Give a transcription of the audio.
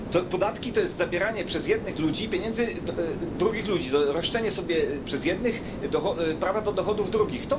Podatki to zabieranie przez jednych ludzi pieniędzy drugich ludzi, roszczenie sobie przez jednych prawa do dochodów drugich.